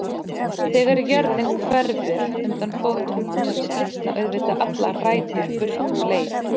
Þegar jörðin hverfur undan fótum manns slitna auðvitað allar rætur burt um leið.